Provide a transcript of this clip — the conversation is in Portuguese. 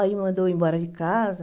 Aí mandou eu ir embora de casa.